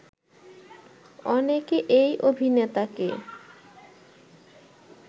অনেকে এই অভিনেতাকে